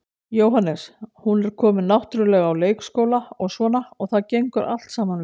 Jóhannes: Hún er komin náttúrulega á leikskóla og svona og það gengur allt saman vel?